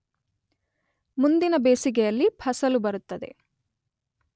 ಮುಂದಿನ ಬೇಸಗೆಯಲ್ಲಿ ಫಸಲು ಬರುತ್ತದೆ